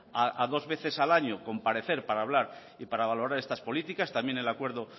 a dos veces al año a comparecer para hablar y para valorar estas políticas también el acuerdo